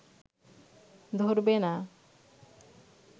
ধরবে না